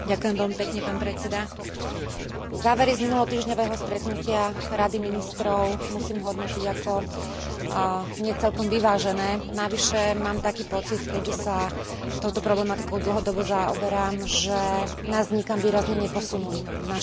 Závery z minulotýždňového stretnutia Rady ministrov musím hodnotiť ako nie celkom vyvážené, navyše mám taký pocit, keďže sa touto problematikou dlhodobo zaoberám, že nás nikam výrazne neposunuli v našom úsilí o mierové spolužitie